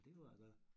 Og det var det da